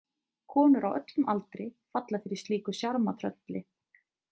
Konur á öllum aldri falla fyrir slíku sjarmatrölli.